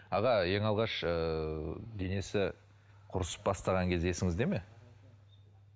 аға ең алғаш ыыы денесі құрысып бастаған кезі есіңізде ме